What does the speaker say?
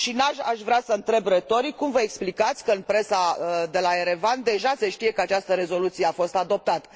Și aș vrea să întreb retoric, cum vă explicați că în presa de la Erevan deja se știe că această rezoluție a fost adoptată.